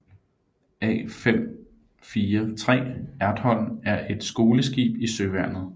A543 Ertholm er et skoleskib i Søværnet